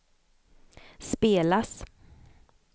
spelas